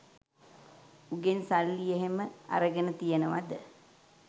උගෙන් සල්ලි එහෙම අරගෙන තියෙනවද?